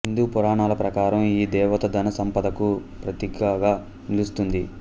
హిందూ పురాణాల ప్రకారం ఈ దేవత ధన సంపదకు ప్రతీకగా నిలుస్తుంది